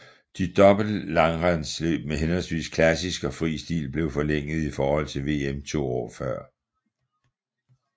De dobbelte langrendsløb med henholdsvis klassisk og fri stil blev forlænget i forhold til VM to år før